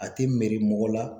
A tɛ mɛri mɔgɔ la